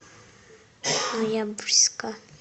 ноябрьска